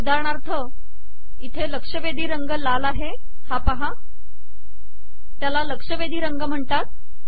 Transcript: उदाहरणार्थ येथे लक्षवेधी रंग लाल आहे त्याला लक्षवेधी रंग म्हणतात